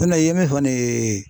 N'o tɛ i ye min fɔ ni ye